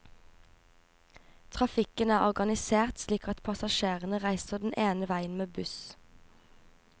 Trafikken er organisert slik at passasjerene reiser den ene veien med buss.